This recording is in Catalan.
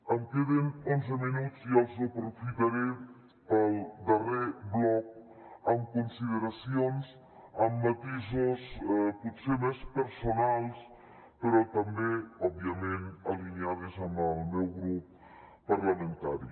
em queden onze minuts i els aprofitaré per al darrer bloc amb consideracions amb matisos potser més personals però també òbviament alineats amb el meu grup parlamentari